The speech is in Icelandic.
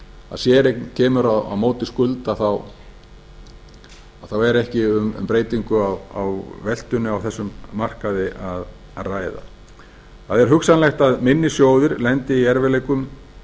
séreign kemur á móti skuld þá er beri um breytingu á veltunni á þessum markaði að ræða það er hugsanlegt að minni sjóðir lendi í erfiðleikum